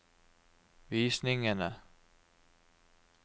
visningene